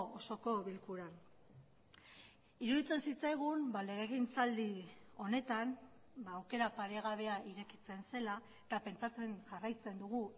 osoko bilkuran iruditzen zitzaigun legegintzaldi honetan aukera paregabea irekitzen zela eta pentsatzen jarraitzen dugu